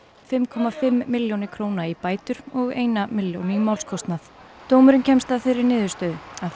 fimm komma fimm milljónir króna í bætur og eina milljón í málskostnað dómurinn kemst að þeirri niðurstöðu að